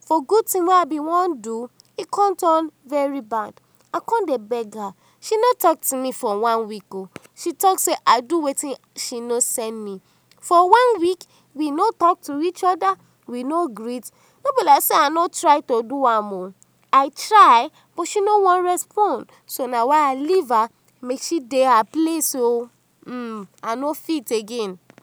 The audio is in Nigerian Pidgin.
for good thing wey I been wan do e con turn bad, I con dey beg her, she no talk to me for one week o, she talk sey I do wetin she no send me, for one week we no talk to each oda, we no greet, no be like sey I no try to do am oh, I try but she no wan respond so na why I leave her make she dey her place oh um I no fit again.